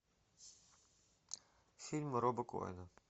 фильм роба коэна